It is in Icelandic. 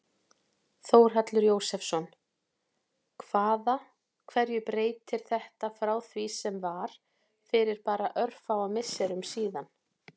Þórhallur Jósefsson: Hvaða, hverju breytir þetta frá því sem var fyrir bara örfáum misserum síðan?